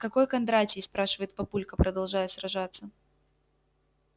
какой кондратий спрашивает папулька продолжая сражаться